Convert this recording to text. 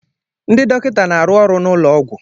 Ndị dọkịta na-arụ ọrụ n'ụlọọgwụ.